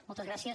moltes gràcies